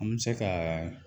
An bɛ se kaa